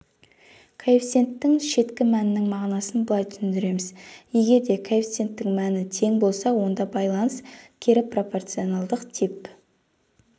коэффициенттің шеткі мәнінің мағынасын былай түсіндіреміз егерде коэффициенттің мәні тең болса онда байланыс кері пропорционалдық тип